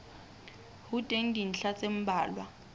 ho teng dintlha tse mmalwa